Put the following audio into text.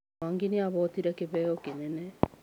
Mwangi nĩ ahootire kĩheo kĩnene.